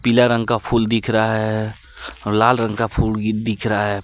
पीला रंग का फूल दिख रहा है और लाल रंग का फूल दिख रहा है।